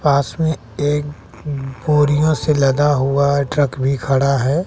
पास में एक उम्म बोरियों से लदा हुआ है ट्रक भी खड़ा है।